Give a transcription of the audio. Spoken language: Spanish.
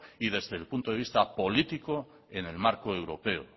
y desde el punto de visto político en el marco europeo